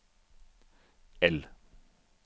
L